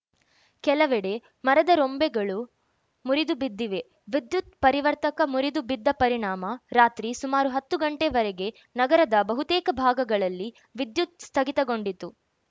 ಕೆಲವೆಡೆ ಮರದ ರೊಂಬೆಗಳು ಮುರಿದು ಬಿದ್ದಿವೆ ವಿದ್ಯುತ್‌ ಪರಿವರ್ತಕ ಮುರಿದು ಬಿದ್ದ ಪರಿಣಾಮ ರಾತ್ರಿ ಸುಮಾರು ಹತ್ತು ಗಂಟೆ ವರೆಗೆ ನಗರದ ಬಹುತೇಕ ಭಾಗಗಳಲ್ಲಿ ವಿದ್ಯುತ್‌ ಸ್ಥಗಿತಗೊಂಡಿತು